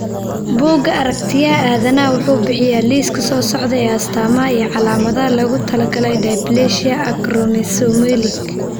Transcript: Bugga Aragtiyaha Aadanaha wuxuu bixiyaa liiska soo socda ee astaamaha iyo calaamadaha loogu talagalay dysplasia acromesomelic.